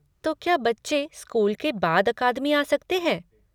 तो क्या बच्चे स्कूल के बाद अकादमी आ सकते हैं?